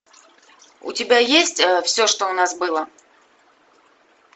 у тебя есть все что у нас было